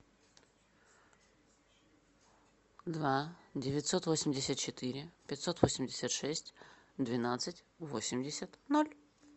два девятьсот восемьдесят четыре пятьсот восемьдесят шесть двенадцать восемьдесят ноль